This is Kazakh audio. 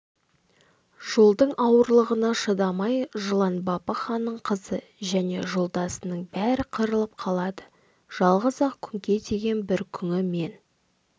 жолдың ауырлығына шыдамай жылан бапы ханның қызы жөне жолдастарының бәрі қырылып қалады жалғыз-ақ күңке деген бір күңі мен